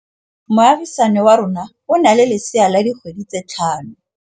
Moagisane wa rona o na le lesea la dikgwedi tse tlhano.